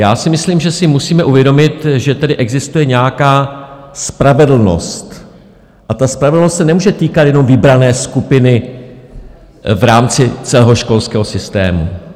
Já si myslím, že si musíme uvědomit, že tedy existuje nějaká spravedlnost a ta spravedlnost se nemůže týkat jenom vybrané skupiny v rámci celého školského systému.